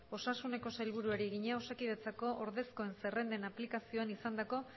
osasuneko sailburuari egina osakidetza ordezkoen zerrenden aplikazioan izandako